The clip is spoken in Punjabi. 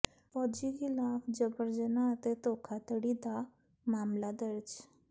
ਫ਼ੌਜੀ ਿਖ਼ਲਾਫ਼ ਜਬਰ ਜਨਾਹ ਅਤੇ ਧੋਖਾਧੜੀ ਦਾ ਮਾਮਲਾ ਦਰਜ